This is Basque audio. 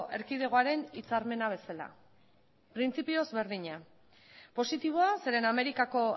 erkidegoaren hitzarmena bezala printzipioz berdina positiboa zeren amerikako